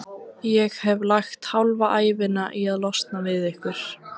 Ég hef lagt hálfa ævina í að losna við ykkur.